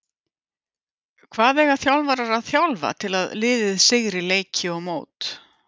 Hvað eiga þjálfarar að þjálfa til að liðið sigri leiki og mót?